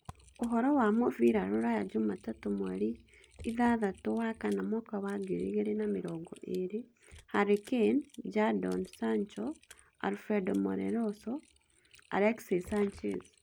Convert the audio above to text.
Ũhoro wa mũbira rũraya jumatatũ mweri ithathatũ wakana mwaka wa ngiri igĩrĩ na mĩrongo ĩĩrĩ: Harry Kane, Jadon Sancho, Alfredo Morelos, Alexis Sanchez